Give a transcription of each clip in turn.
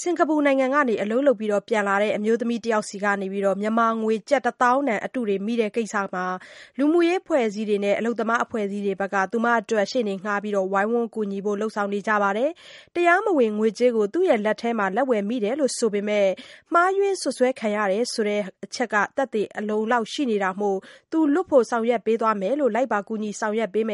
စင်္ကာပူနိုင်ငံမှာ အလုပ်လုပ်ပြီးပြန်လာတဲ့ အမျိုးသမီးတစ်ယောက်ဆီက မြန်မာငွေတစ်သောင်းတန် အတုတွေမိတဲ့ကိစ္စမှာ လူမှုရေးအဖွဲ့အစည်းတွေနဲ့ အလုပ်သမားအဖွဲ့အစည်းတွေက ရှေ့နေငှားပြီး ဝိုင်းဝန်းကူညီဖို့လုပ်ဆောင်နေပါတယ်။ တရားမဝင်ငွေကြေးကို လက်ဝယ်မိတယ်ဆိုပေမဲ့ မှားယွင်း စွပ်စွဲခံရတယ်ဆိုတာ သက်သေအလုံအလောက်ရှိနေတာကြောင့် လွတ်ဖို့ဆောင်ရွက်ပေးသွားမယ်လို့ လိုက်ပါကူညီမ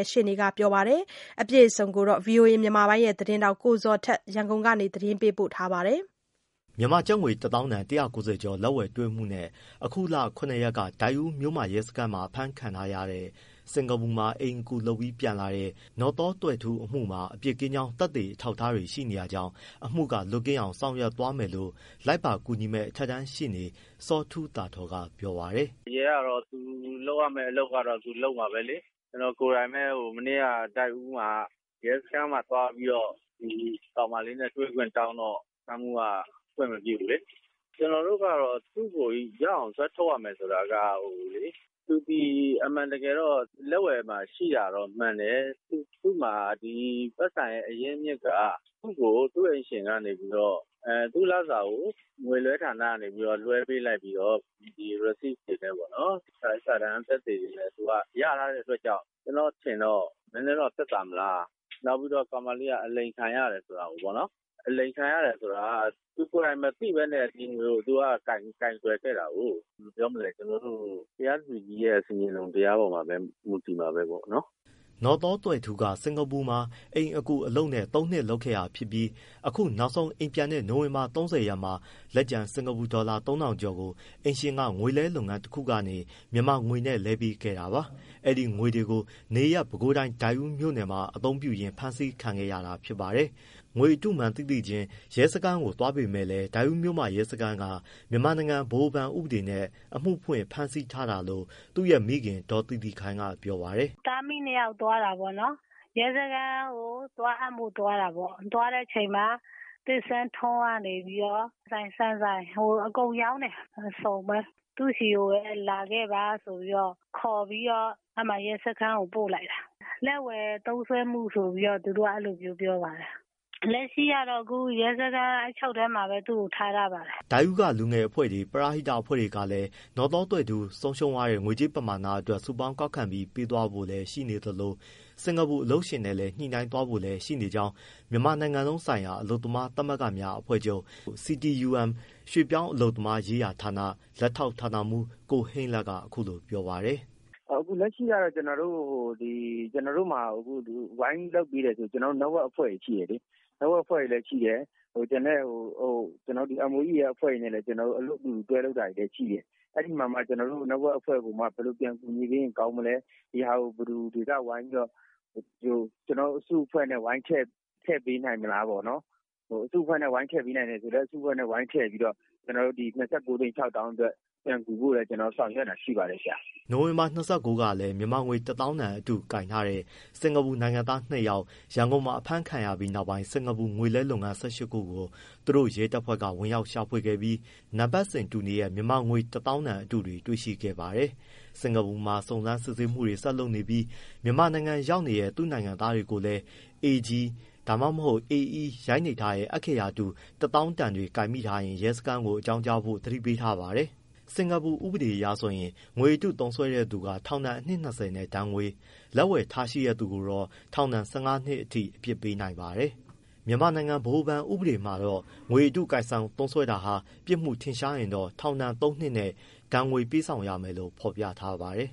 ယ့် ရှေ့နေကပြောလိုက်ပါတယ်။ အပြည့်အစုံကို ကိုဇော်ထက် ရန်ကုန်ကနေ ပေးပို့ထားပါတယ်။ မြန်မာငွေတစ်သောင်းတန် ၁၉၀ကျော် (၂၉ သိန်းကျော်) လက်ဝယ်တွေ့မှုနဲ့ အခုလ၇ရက်က ဒိုက်ဦးမြို့မ ရဲစခန်းမှာ အဖမ်းခံထားရတဲ့ စင်္ကာပူမှာ အိမ်အကူလုပ်ပြီးပြန်လာတဲ့ နော်သောသွဲ့ထူးအမှုမှာ အပြစ်ကင်းကြောင်း သက်သေ အထောက်အထားတွေရှိနေ တာကြောင့် အမှုကလွတ်အောင်ဆောင်ရွက်သွားမယ်လို့ လိုက်ပါကူညီမယ့်အထက်တန်းရှေ့နေ ဦးစောထူးသာထော် က ပြောပါတယ်။ “ရဲကတော့ သူလုပ်ရမယ့်အလုပ် လုပ်မှာပဲလေ။ ကျွန်တော်ကိုယ်တိုင်ပဲမနေ့က ဒိုက်ဦးမှာရဲစခန်းမှာ သွားပြီးတော့ ဒီကောင်မလေးနဲ့ တွေ့ခွင့်တောင်းတော့ စခန်းမှူးက ခွင့်မပြုဘူးလေ။ ကျွန်တော်တို့ ကတော့သူတို့ကို ရအောင်ဆွဲထုတ်ရမယ်ဆိုတာက သူသည်အမှန်တကယ်တော့ လက်ဝယ်မှာ ရှိတာတော့မှန်တယ်။ သူ့မှာ ဒီပိုက်ဆံရဲ့ အရင်းအမြစ်က သူ့ကို သူ့အိမ်ရှင်ကနေပြီးတော့ သူ့လစာကို ငွေလွှဲဌာနကနေလွှဲပေးလိုက်ပြီးတော့ ဒီ Receive (လက်ခံပြေစာ) စာရွက်စာတမ်းသက်သေတွေနဲ့ ရထားတဲ့အတွက်ကြောင့် ကျွန်တော့အထင်တော့ နည်းနည်းတော့သက်သာမလား။ နောက်ပြီး ကောင်မလေးက အလိမ်ခံရဆိုတာကိုပေါ့နော် အလိမ်ခံရတယ်ဆိုတာ သူကိုယ်တိုင်မသိဘဲနဲ့ သူက ကိုင်တွယ်ခဲ့တာကိုး။ ဘယ်လိုပြောမလဲ တရားသူကြီးရဲ့ ဆင်ခြင်တုံတရားပေါ်မှာပဲ မူတည်မှာပဲပေါ့နော်။” နော်သောဘွဲ့ထူးက စင်္ကာပူမှာ အိမ်အကူအလုပ်နဲ့ သုံးနှစ်လုပ်ခဲ့တာဖြစ်ပြီး အခုနောက်ဆုံးအိမ်ပြန်တဲ့ နိုဝင်ဘာ ၃၀ရက်မှာ လက်ကျန်စင်္ကာပူဒေါ်လာ ၃၀၀၀ ကျော် (၃၁၂၃.၃၉) ကိုအလုပ်ရှင်က ငွေလဲလုပ်ငန်းတစ်ခု ကနေ မြန်မာငွေနဲ့လဲပေးခဲ့တာပါ။ အဲဒီငွေတွေကို နေရပ် ပဲခူးတိုင်း ဒိုက်ဦးမြို့မှာ အသုံးပြုရင်းဖမ်းဆီးခံခဲ့ရတာဖြစ်ပါတယ်။ ငွေအတုမှန်းသိသိချင်း ရဲစခန်းကိုသွားပေမဲ့လည်း ဒိုက်ဦးမြို့မရဲစခန်းက မြန်မာနိုင်ငံ ဗဟိုဘဏ်ဥပဒေနဲ့ အမှုဖွင့်ဖမ်းဆီးထားတာလို့ သူ့ရဲ့မိခင် ဒေါ်သီသီခိုင်ကပြောပါတယ်။ “သားအမိနှစ်ယောက်သွားတာပေါ့နော် ရဲစခန်းကိုသွားအပ်မလို့သွားတာပေါ့။ သွားတဲ့အခါမှာ ‘သစ်ဆန်းထွန်း’ ကနေပြီးတော့ ဆန်ဆိုင် အကုန်ရောင်းတယ် သူ့ဆီကိုလာခဲ့ပါဆိုပြီးတော့ ခေါ်ပြီးတော့ ရဲစခန်းကို ပို့လိုက်တာ လက်ဝယ်သုံးစွဲမှုဆိုပြီးတော့ သူတို့က အဲလိုမျိုးပြောပါတယ်။ လက်ရှိကတော့ ရဲစခန်းအချုပ်ထဲမှာပဲ သူ့ကိုထားပါတယ်။” ဒိုက်ဦးက လူငယ်အဖွဲ့တွေ၊ ပရဟိတအဖွဲ့တွေကလည်း နော်သောသွဲ့ထူး ဆုံးရှုံးသွားတဲ့ ငွေကြေးပမာဏအတွက် စုပေါင်းကောက်ခံပြီး ပေးသွားဖို့လည်းရှိသလို စင်္ကာပူအလုပ်ရှင်နဲ့လည်း ညှိနှိုင်းသွားဖို့လည်းရှိနေကြောင်း မြန်မာနိုင်ငံလုံးဆိုင်ရာ အလုပ်သမားသမဂ္ဂများအဖွဲ့ချုပ် CIUM ရွှေ့ပြောင်းအလုပ်သမားရေးရာဌာန လက်ထောက်ဌာနမှူး ကိုဟိန်းလတ်ကအခုလိုပြောပါတယ်။ “လက်ရှိကတော့ ကျွန်တော်တို့ဟို ဝိုင်လုပ်ပေးတဲ့ Network တွေရှိတယ်လေ။ ကျွန်တော်တို့ MOEAF တို့နဲ့တွဲလုပ်တာတွေလည်းတွဲလုပ်တာလည်းရှိတယ်။ ကျွန်တော်တို့ဘယ်လိုကူညီပေးရင်ကောင်းမလဲ ကျွန်တော်တို့ အစုအဖွဲ့နဲ့ ဝိုင်းထည့်ပေးနိုင်မလားပေါ့နော်၊ အစုအဖွဲ့နဲ့ဝိုင်းထည့်ပေးနိုင်မယ်ဆိုလည်း အစုအဖွဲ့နဲ့ဝိုင်းထည့်ပြီး ကျွန်တော်တို့ ၂၉ သိန်း ၆သောင်းအတွက် ပြန်ကူဖို့ဆောင်ရွက်တာလည်း ရှိပါတယ်ခင်ဗျာ။” နိုဝင်ဘာ ၂၉ကလည်း မြန်မာငွေ ၁သောင်းတန်အတုကိုင်ထားတဲ့ စင်္ကာပူနိုင်ငံသားနှစ်ယောက် ရန်ကုန်မှာအဖမ်းခံရပြီးနောက်ပိုင်း စင်္ကာပူ ငွေလဲလုပ်ငန်း ၁၈ခုကို သူတို့ရဲတပ်ဖွဲ့က ဝင်ရောက် ရှာဖွေခဲ့ပြီး နံပတ်စဉ်တူနေတဲ့ မြန်မာငွေတစ်သောင်းတန်အတုတွေ တွေ့ရှိခဲ့ပါတယ်။ စင်္ကာပူမှာစုံစမ်းစစ်ဆေးမှုတွေကိုဆက်လုပ်နေပြီး မြန်မာနိုင်ငံရောက်နေတဲ့ သူ့နိုင်ငံသားတွေကိုလည်း AG/ AE ရိုက်နှိပ်ထားတဲ့ အက္ခရာတူ တစ်သောင်းတန်တွေကိုင်မိထားရင် ရဲစခန်းကိုအကြောင်းကြားဖို့ သတိပေးပါတယ်။ စင်္ကာပူဥပဒေအရဆိုရင် ငွေအတုသုံးစွဲတဲ့သူက ထောင်ဒဏ်အနှစ် ၂၀နဲ့ ဒဏ်ငွေ၊ လက်ဝယ်ထားရှိတဲ့သူကိုတော့ ထောင်ဒဏ် ၁၅ နှစ်အထိ အပြစ်ပေးနိုင်ပါတယ်။ မြန်မာနိုင်ငံဗဟိုဘဏ်ဥပဒေမှာတော့ ငွေအတုကိုင်ဆောင်သုံးစွဲတာ ပြစ်မှုထင်ရှားရင်တော့ ထောင်ဒဏ်သုံးနှစ်နဲ့ ဒဏ်ငွေပေးဆောင်ရမယ်လို့ဖော်ပြထားပါတယ်။